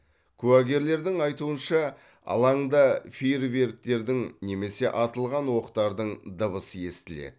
куәгерлердің айтуынша алаңда фейерверктердің немесе атылған оқтардың дыбысы естіледі